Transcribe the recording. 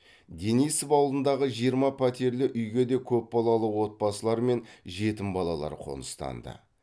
денисов ауылындағы жиырма пәтерлі үйге де көпбалалы отбасылар мен жетім балалар қоныстанды